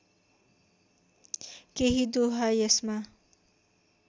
केही दोहा यसमा